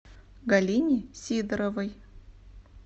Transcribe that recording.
галине сидоровой